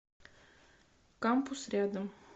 кампус рядом